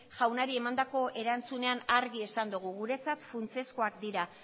jaunari emandako erantzunean argi esan dugu guretzat funtsezkoak dira